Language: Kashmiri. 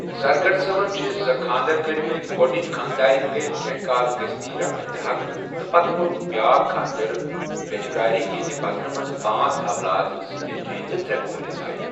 زرگر صأبن چھِ زٕ خاندر کٔرؠ مٕتؠ گوڈنِچ خاندارین گٔیکھ کینٛہہ کال گٔژھتٕھے رحمتِ حق تٕہ پتِہ کۄرُکھ بیٛاکھ خاندر ویجبیارِ یہندِ بطنٕہ منٛزٕ پانژ اولاد زٕ نیچِوؠ ترےٚ کورِ زایِہ.